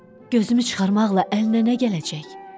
Gözümü çıxarmaqla əlinə nə gələcək?